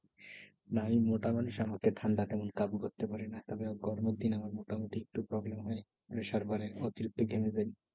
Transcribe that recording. মানে মোটামুটি ঠান্ডা তেমন কাবু করতে পারেনা। তবে গরমের দিনে মোটামুটি একটু problem হয়। pressure বাড়ে অতিরিক্ত ঘেমে যাই।